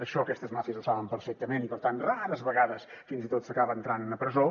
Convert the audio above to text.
això aquestes màfies ho saben perfectament i per tant rares vegades fins i tot s’acaba entrant a presó